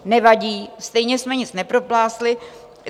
Nevadí, stejně jsme nic nepropásli.